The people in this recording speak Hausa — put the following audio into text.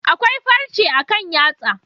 Akwai farche akan yatsa.